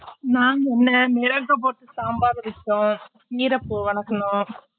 நான் என்ன மிளகு போட்டு சாம்பார் வச்சோம் கீரப்பூ வனக்குனோம்